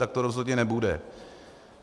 Tak to rozhodně nebude.